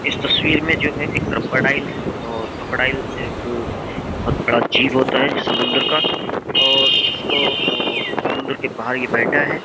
इस तस्वीर में जो है एक क्रोकोडाइल है और क्रोकोडाइल एक बहुत बड़ा जीव होता है समुंद्र का और इसको समुद्र के बाहर ये बैठा है।